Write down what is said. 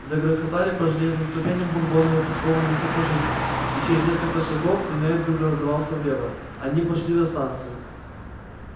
загрохотали по железным ступеням бурбоновы подкованные сапожищи и через несколько шагов туннель вдруг раздался влево они вышли на станцию